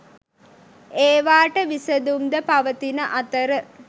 ඒවාට විසඳුම් ද පවතින අතර